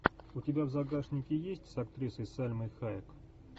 у тебя в загашнике есть с актрисой сальмой хайек